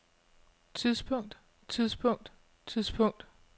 tidspunkt tidspunkt tidspunkt